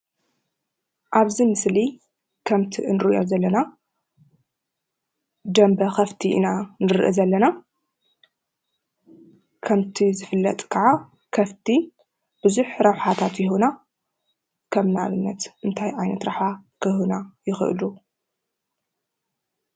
ኣብ እዚ ምስሊ ከምቲ እንርኦ ዘለና ደንበ ከፍቲ ኢና ንርኢ ዘለና ።ከምቲ ዝፍለጥ ከዓ ከፍቲ ቡዝሕ ረበሓታት ይህቡና ። ከም ንኣብት እንተያ ዓይነት ረብሓ ክህቡና ይክእሉ?